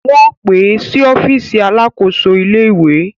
Wọ́n pè é sí ọ́fíìsì alakoso ìlé-ìwé